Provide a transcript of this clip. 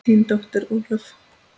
Þín dóttir Ólöf.